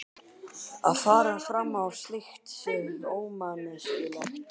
Að fara fram á slíkt sé ómanneskjulegt.